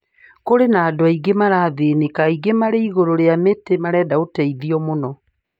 Kũri na andũ aingĩ marathĩnĩka, aingĩ mari igũru rĩa miti marenda ũteithio mũno